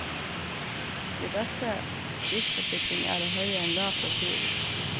Den beste livsforsikring er å holde en lav profil.